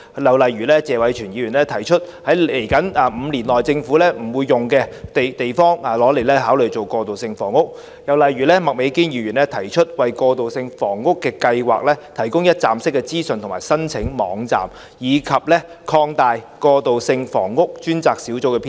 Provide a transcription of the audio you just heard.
例如謝偉銓議員提出，考慮把往後5年政府不會使用的地方，用來興建過渡性房屋；又例如麥美娟議員提出，為過渡性房屋計劃提供一站式資訊及申請網站，以及擴大過渡性房屋專責小組的編制。